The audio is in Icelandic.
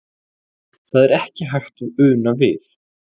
Það er ekki hægt að una við.